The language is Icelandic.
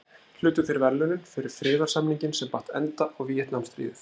Hlutu þeir verðlaunin fyrir friðarsamninginn sem batt enda á Víetnamstríðið.